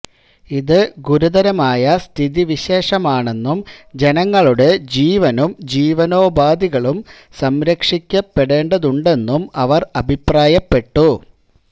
ഇത് ഗുരതരമായ സ്ഥിതിവിശേഷമാണെന്നും ജനങ്ങളുടെ ജീവനും ജീവനോപാധികളും സംരക്ഷിക്കപ്പെടേണ്ടതുണ്ടെന്നും അവര് അഭിപ്രായപ്പെട്ടു